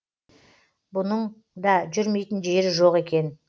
бұның да жүрмейтін жері жоқ екен